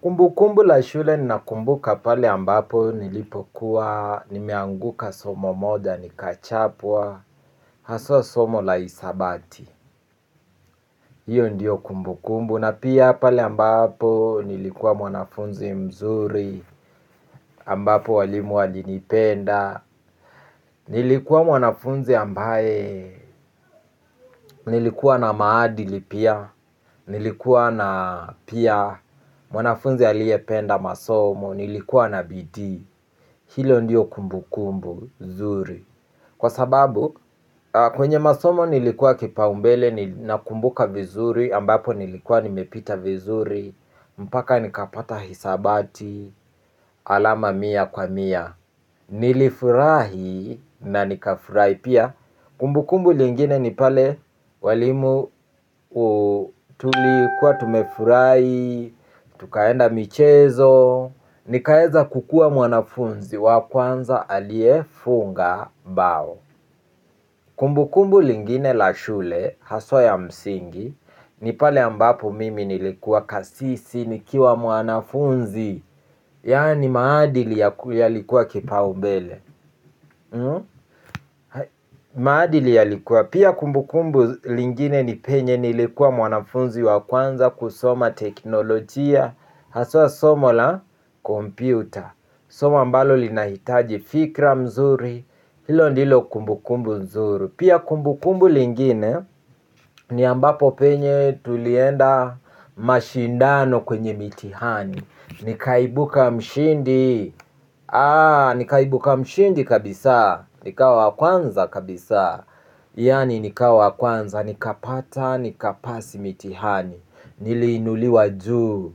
Kumbu kumbu la shule ninakumbuka pale ambapo nilipokuwa nimeanguka somo moja nikachapwa haswa somo la hisabati. Hiyo ndiyo kumbu kumbu na pia pale ambapo nilikuwa mwanafunzi mzuri ambapo walimu walinipenda. Nilikuwa mwanafunzi ambaye nilikuwa na maadili pia nilikuwa na pia mwanafunzi aliependa masomo nilikuwa na bidii. Hilo ndiyo kumbu kumbu nzuri. Kwa sababu kwenye masomo nilikuwa kipau mbele nakumbuka vizuri ambapo nilikuwa nimepita vizuri mpaka nikapata hisabati. Alama mia kwa mia. Nilifurahi na nikafurahi pia. Kumbu kumbu lingine ni pale. Walimu tulikuwa tumefurahi. Tukaenda michezo. Nikaeza kukua mwanafunzi wa kwanza aliyefunga bao. Kumbukumbu lingine la shule haswa ya msingi. Nipale ambapo mimi nilikuwa kasisi nikiwa mwanafunzi. Yani maadili yalikuwa kipaumbele. Maadili yalikuwa pia kumbukumbu lingine ni penye nilikuwa mwanafunzi wakwanza kusoma teknolojia. Haswa somo la kompyuta. Soma mbalo linahitaji fikra mzuri, hilo ndilo kumbukumbu nzuri. Pia kumbukumbu lingine, ni ambapo penye tulienda mashindano kwenye mitihani. Nikaibuka mshindi, aa, nikaibuka mshindi kabisa, nikawa wakwanza kabisa. Yani nika wakwanza, nikapata, nikapasi mitihani. Niliinuliwa juu,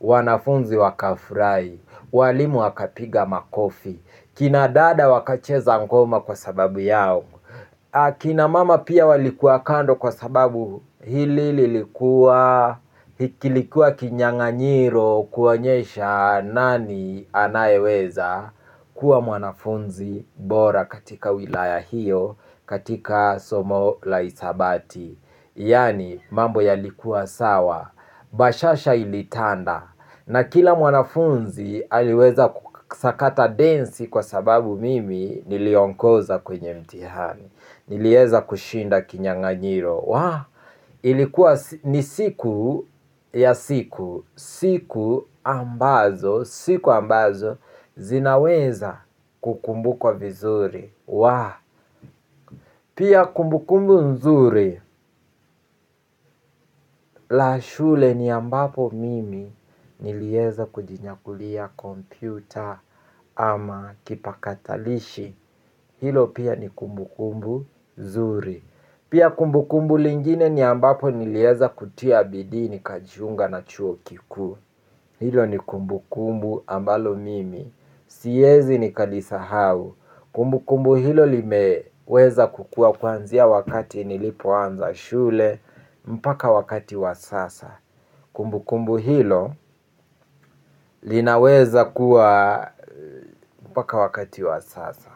wanafunzi wakafurai, walimu wakapiga makofi, kinadada wakacheza ngoma kwa sababu yao. Akinamama pia walikuwa kando kwa sababu hili lilikuwa, kilikua kinyang'anyiro kuonyesha nani anayeweza kuwa mwanafunzi bora katika wilaya hiyo katika somo la hisabati. Yani mambo yalikuwa sawa. Bashasha ilitanda. Na kila mwanafunzi aliweza kusakata densi kwa sababu mimi niliongoza kwenye mtihani. Nilieza kushinda kinyang'anyiro. Wa! Ilikuwa ni siku ya siku. Siku ambazo, siku ambazo zinaweza kukumbukwa vizuri. Wa! Pia kumbukumbu nzuri. La shule ni ambapo mimi nilieza kujinyakulia kompyuta ama kipakatalishi. Hilo pia ni kumbukumbu zuri. Pia kumbukumbu lingine ni ambapo nilieza kutia bidii nikajiunga na chuo kiku. Hilo ni kumbukumbu ambalo mimi siezi nikalisahau. Kumbukumbu hilo limeweza kukua kwanzia wakati nilipoanza shule mpaka wakati wa sasa kumbukumbu hilo linaweza kuwa mpaka wakati wa sasa.